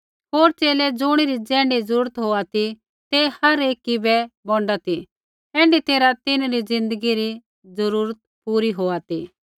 होर च़ेले ज़ुणी री ज़ैण्ढी ज़रूरत होआ ती ते हर एकी बै बोंडा ती ऐण्ढी तैरहै तिन्हरी ज़िन्दगी री जरूरत पूरी होआ ती